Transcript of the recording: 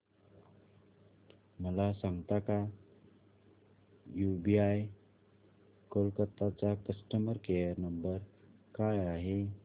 मला सांगता का यूबीआय कोलकता चा कस्टमर केयर नंबर काय आहे